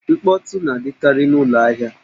Mkpọtụ na-adịkari n'ụlọ ahịa